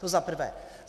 To za prvé.